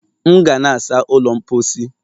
M ga na-asa ụlọ mposi